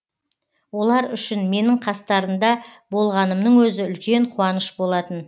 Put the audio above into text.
олар үшін менің қастарында болғанымның өзі үлкен қуаныш болатын